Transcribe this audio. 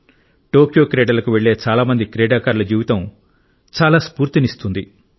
Tokyo క్రీడలకు వెళ్ళే చాలామంది క్రీడాకారుల జీవితం చాలా స్ఫూర్తినిస్తుంది